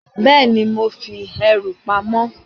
Bẹẹni, mo fi ẹrù pamó